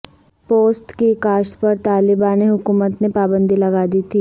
پوست کی کاشت پر طالبان حکومت نے پابندی لگا دی تھی